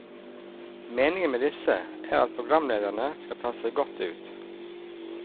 Meningen med disse er at programlederne skal ta seg godt ut.